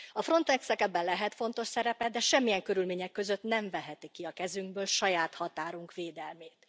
A Frontex nek ebben lehet fontos szerepe, de semmilyen körülmények között nem veheti ki a kezünkből saját határunk védelmét.